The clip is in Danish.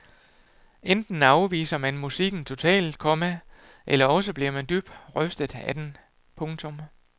Enten afviser man musikken totalt, komma eller også bliver man dybt rystet af den. punktum